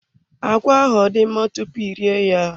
Agwa ahụ ọ dị mma tupu ị rie ya?